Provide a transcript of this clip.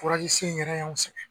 sen yɛrɛ y'anw sɛgɛn